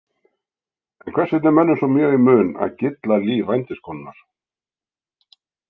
En hvers vegna er mönnum svo mjög í mun að gylla líf vændiskonunnar?